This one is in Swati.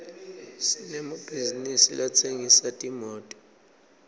sinemabhizisi latsengisa timoto